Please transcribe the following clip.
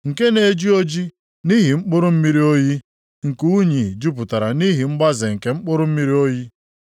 nke na-eji ojii nʼihi mkpụrụ mmiri oyi, nke unyi jupụtara nʼihi mgbaze nke mkpụrụ mmiri oyi.